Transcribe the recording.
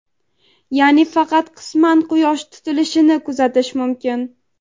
ya’ni faqat qisman Quyosh tutilishini kuzatish mumkin.